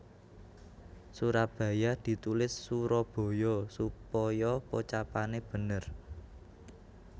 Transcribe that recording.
Surabaya ditulis Suroboyo supaya pocapane bener